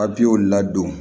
Papiyew ladon